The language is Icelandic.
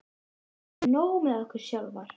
Við höfðum nóg með okkur sjálfar.